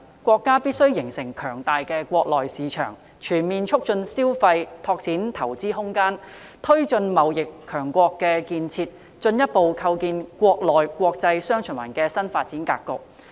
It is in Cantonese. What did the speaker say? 國家必須形成強大的國內市場、全面促進消費、拓展投資空間、推進貿易強國建設，以及進一步構建"國內國際雙循環"的新發展格局。